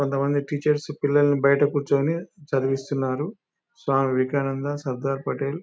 కొంతమంది టీచర్స్ పిల్లల్ని బయట కూర్చుని చదివిస్తున్నారు స్వామి వివేకానంద సర్దార్ పటేల్ --